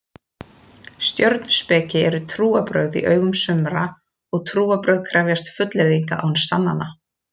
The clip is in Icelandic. Stjörnuspeki eru trúarbrögð í augum sumra og trúarbrögð krefjast fullyrðinga án sannana.